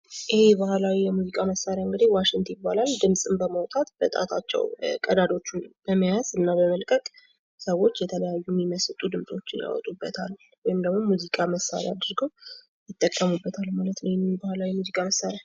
ይሄ የባህላዊ ሙዚቃ እንግዲህ ዋሽት የባላል ። ድምፅን በማዉጣት ፣ በጣታቸዉ ቀዳዳዎቹን በመያዝ እና በመልቀቅ ሰዎች የተለያዩ የሚመስጡ ድምፆዎችን ያወጡበታል ወይም ደግሞ ሙዚቃ መሳሪያ አድርገው የጠከሙበታል ማለት ነው ይሄን የባህላዊ የሙዚቃ መሳሪያ ።